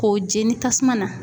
K'o jeni tasuma na